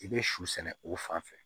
I bɛ su sɛnɛ o fan fɛ